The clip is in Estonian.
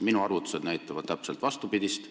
Minu arvutused näitavad täpselt vastupidist.